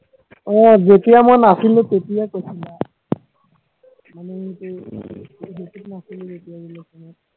আহ যেতিয়া মই নাছিলো তেতিয়া কৈছিলা মানে নাছিলো যেতিয়া relation ত